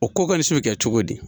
O ko kɔnisi bi kɛ cogo di